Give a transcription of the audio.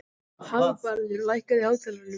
Hagbarður, lækkaðu í hátalaranum.